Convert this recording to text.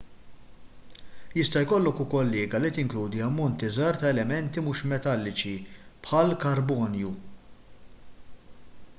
jista' jkollok ukoll liga li tinkludi ammonti żgħar ta' elementi mhux metalliċi bħall-karbonju